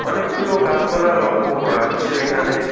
অনেকগুলো গাসপালা লক্ষ করা যাচ্ছে এখানে।